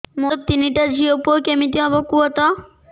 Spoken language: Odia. ମୋର ତିନିଟା ଝିଅ ପୁଅ କେମିତି ହବ କୁହତ